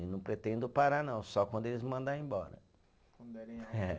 E não pretendo parar não, só quando eles me mandarem embora. Quando derem